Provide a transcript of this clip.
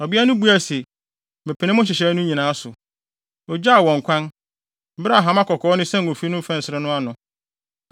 Ɔbea no buae se, “Mepene mo nhyehyɛe no nyinaa so.” Ogyaa wɔn kwan, bere a hama kɔkɔɔ no sɛn ofi no mfɛnsere no ano.